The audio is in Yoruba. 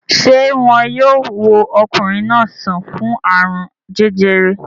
Ṣé wọn yóò wo ọkùnrin náà sàn fún àrùn jẹjẹrẹ?